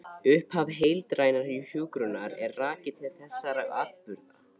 Upphaf heildrænnar hjúkrunar er rakið til þessara atburða.